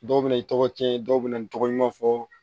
Dɔw bɛ na i tɔgɔ cɛn dɔw bɛ na n'i tɔgɔ ɲuman fɔ